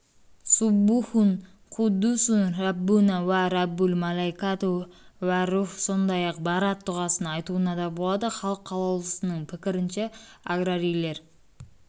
суббухун қуддусун рәббунәә уә рәббул-мәләәикәту уәр-рух сондай-ақ бәраат дұғасын айтуына да болады халық қалаулысының пікірінше аграрийлер